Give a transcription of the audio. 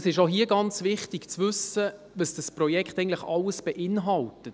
Es ist auch hier ganz wichtig zu wissen, was das Projekt alles beinhaltet.